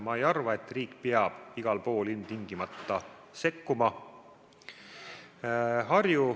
Ma ei arva, et riik peab igal pool ilmtingimata sekkuma.